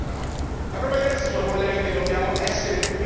All'orizzonte si intravede forse un governo di unità nazionale.